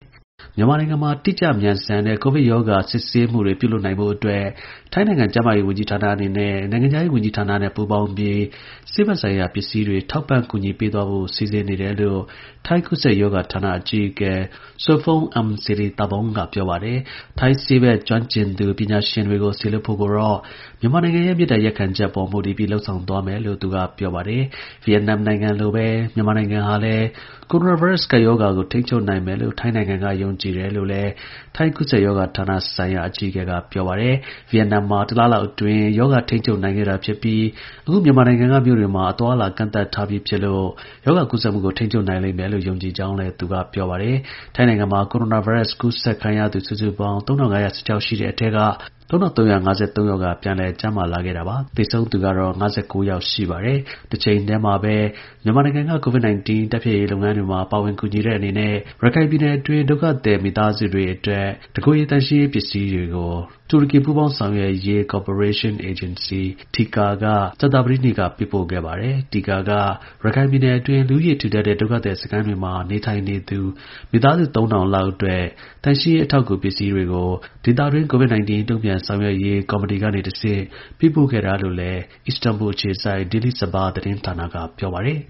မြန်မာနိုင်ငံမှာ တိကျ မြန်ဆန်တဲ့ ကိုဗစ်ရောဂါ စစ်ဆေးရေးတွေပြုလုပ်နိုင်ဖို့ အတွက် ထိုင်းနိုင်ငံ ကျန်းမာရေးဝန်ကြီးဌာနနဲ့ နိုင်ငံခြားရေးဝန်ကြီး ဌာန တို့က ပူးပေါင်းပြီး ဆေးဘက်ဆိုင်ရာ ပစ္စည်းတွေထောက်ပံ့ ကူညီပေးသွားဖို့ စီစဉ်နေတယ်လို့ ထိုင်း ကူးစက်ရောဂါ ဌာနအကြီးအကဲ Sophon Iamsirithavorn က ပြောပါတယ်။ ထိုင်းဆေးဘက် ကျွမ်းကျင်ပညာရှင်တွေကိုစေလွှတ်ဖို့ကိုတော့မြန်မာ နိုင်ငံရဲ့ မေတ္တာရပ်ခံချက်ပေါ်မူတည်ပြီး လုပ်ဆောင် သွားမယ်လို့လည်း သူက ပြောပါတယ်။ ဗီယက်နမ်လိုပဲ မြန်မာနိုင်ငံဟာ လည်း ကိုရိုနာဗိုင်းရပ်စ်ကပ်ရောဂါကိုထိန်းချုပ်နိုင်မယ်လို့ ထိုင်းက ယုံကြည်တယ်လို့လည်းထိုင်းကူးစက်ရောဂါဆိုင်ရာဌာနအကြီးအကဲ ပြောပါတယ်။ ဗီယက်နမ်မှာ တလလောက်အတွင်း ရောဂါထိန်းချုပ်နိုင်ခဲ့တာဖြစ်ပြီး အခုမြန်မာနိုင်ငံ မြို့တွေမှာအသွားအလာတွေကန့်သတ် ထား ပြီးဖြစ် လို့ ရောဂါကူးစက်မှုကို ထိန်းချုပ်နိုင်လိမ့်မယ်လို့ ယုံကြည်ကြောင်းလည်း ပြောပါတယ်။ ထိုင်းနိုင်ငံမှာ ကိုရိုနာဗိုင်းရပ်စ် ကူးစက်သူ စုစုပေါင်း ၃၅၁၆ ယောက်ရှိပြီး ၃၃၅၃ ယောက်ကပြန်လည် ကျန်းမာလာခဲ့သလို သေဆုံးသူက ၅၉ ယောက်ရှိပါတယ် ။ တချိန်တည်းမှာပဲ မြန်မာနိုင်ငံ COVID 19 တိုက်ဖျက်ရေးလုပ်ငန်းတွေ မှာ ပါဝင်ကူညီတဲ့အနေနဲ့ ရခိုင်ပြည်နယ်တွင်း ဒုက္ခသည် မိသားစုတွေအတွက် တစ်ကိုယ်ရေသန့်ရှင်းရေးပစ္စည်းတွေကို တူရကီ ပူးပေါင်းဆောင်ရွက်ရေး ကော်ပရေးရှင်း အေဂျင်စီ (TIKA) က ကြာသပတေးနေ့က ပေးပို့ခဲ့ပါတယ်။ (TIKA) က ရခိုင်ပြည်နယ်တွင်း လူဦးရေထူထပ်တဲ့ ဒုက္ခသည်စခန်းတွေမှာ နေထိုင်နေသူ မိသားစု ၃၀၀၀ လောက်အတွက် သန့်ရှင်းရေး အထောက်အကူပြု ပစ္စည်းတွေကို ဒေသတွင်း COVID-19 တုန့်ပြန်ဆောင်ရွက်ရေး ကော်မတီကနေ တဆင့် ပေးပို့ခဲ့တာလို့လည်း အစ္စတန်ဘူလ်ခြေစိုက် Daily Sabah သတင်းဌာနက ပြောပါတယ်